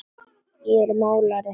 Ég er málari.